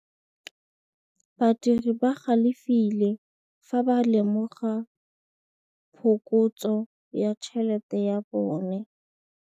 Badiri ba galefile fa ba lemoga phokotsô ya tšhelête ya bone.